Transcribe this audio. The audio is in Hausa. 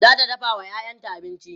zata dafawa ƴaƴanta abinci